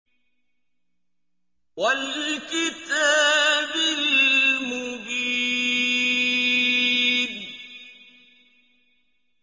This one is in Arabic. وَالْكِتَابِ الْمُبِينِ